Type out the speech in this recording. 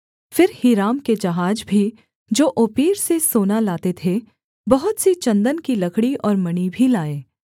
फिर हीराम के जहाज भी जो ओपीर से सोना लाते थे बहुत सी चन्दन की लकड़ी और मणि भी लाए